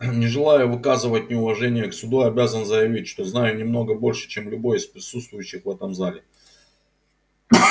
не желая выказывать неуважение к суду обязан заявить что знаю немного больше чем любой из присутствующих в этом зале